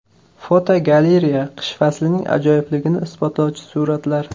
Fotogalereya: Qish faslining ajoyibligini isbotlovchi suratlar.